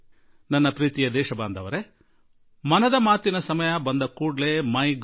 ನನ್ನೊಲವಿನ ನಾಗರಿಕರೆ ಮನದ ಮಾತಿನ ಸಮಯ ಬಂದ ಹಾಗೆ ಮೈ Gov